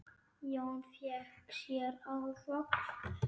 Jón fékk sér ávöxt.